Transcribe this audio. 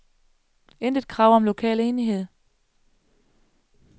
Intet krav om lokal enighed.